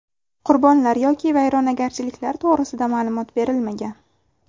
Qurbonlar yoki vayronagarchiliklar to‘g‘risida ma’lumot berilmagan.